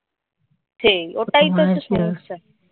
সেই ওটাই তো হচ্ছে সমস্যা